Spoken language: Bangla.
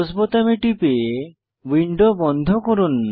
ক্লোজ বোতামে টিপে উইন্ডো বন্ধ করুন